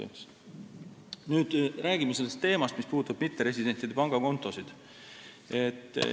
Räägime nüüd sellest teemast, mis puudutab mitteresidentide pangakontosid.